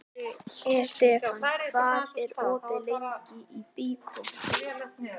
Estefan, hvað er opið lengi í Byko?